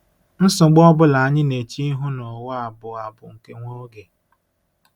Nsogbu ọ bụla anyị na-eche ihu n’ụwa a bụ a bụ nke nwa oge.